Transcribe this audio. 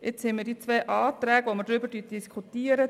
Jetzt haben wir die zwei Anträge, über die wir diskutieren.